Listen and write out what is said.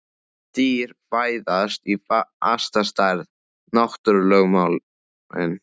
Dýr fæðast í fasta stærð: náttúrulögmálin.